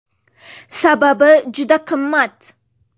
Sababi, juda qimmat.